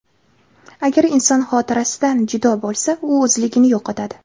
Agar inson xotirasidan judo bo‘lsa, u o‘zligini yo‘qotadi.